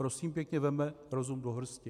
Prosím pěkně, vezměme rozum do hrsti.